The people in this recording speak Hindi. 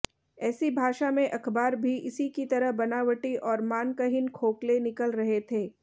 ऐसी भाषा में अखबार भी इसी की तरह बनावटी और मानकहीन खोखले निकल रहे थे